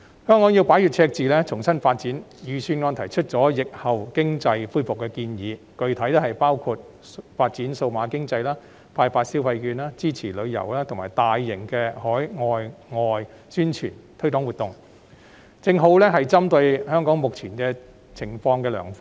香港要擺脫赤字，重新發展，故預算案便提出了有關疫後經濟恢復的建議，具體包括發展數碼經濟、發放消費券，以及支持旅遊及大型海內外宣傳推廣活動等，均屬針對香港目前情況的良方。